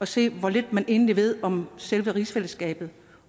se hvor lidt man egentlig ved om selve rigsfællesskabet